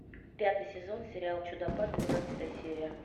пятый сезон сериал чудопад двенадцатая серия